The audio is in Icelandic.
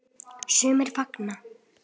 Sumir fagna.